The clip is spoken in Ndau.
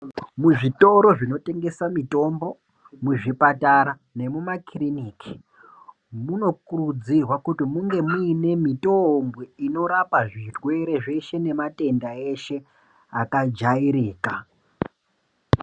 Muzvitoro zvinotengesa mitombo mizvipatara nekumakiriniki anokurudzirwa kunga muine mitombo inorapa zverwere zveshe ngematenda eshe akajairika.